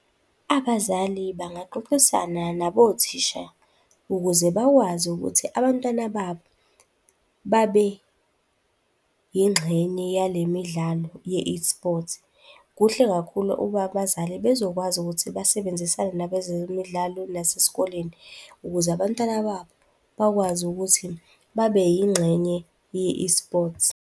Abazali bangaxoxisana nabothisha ukuze bakwazi ukuthi abantwana babo babe yingxenye yale midlalo ye-esports. Kuhle kakhulu ukuba abazali bezokwazi ukuthi basebenzisane nabezemidlalo nasesikoleni ukuze abantwana babo bakwazi ukuthi babe yingxenye ye-esports.